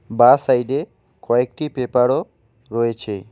বা সাইডে কয়েকটি পেপারও রয়েছে।